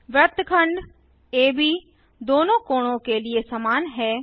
वृत्तखंड एबी दोनों कोणों के लिए समान है